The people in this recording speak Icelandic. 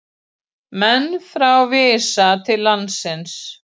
Menn frá Visa til landsins